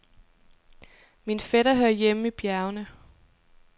Min fætter hører hjemme i bjergene.